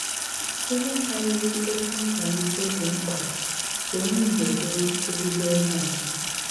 Íhé kárírí ókwù nkwálítè dí mkpà ká ónyè Ìgbò bụrụ ézígbò íhé àtụ́.